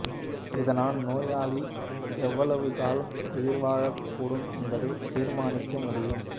இதனால் நோயாளி எவ்வளவு காலம் உயிர்வாழக்கூடும் என்பதைத் தீர்மானிக்கவும் முடியும்